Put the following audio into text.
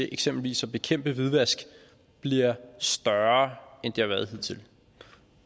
eksempelvis at bekæmpe hvidvask bliver større end det har været hidtil